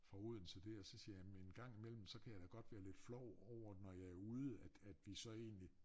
Fra Odense der så siger jeg jamen engang imellem så kan jeg da godt være lidt flov over at når jeg er ude at at vi så egentlig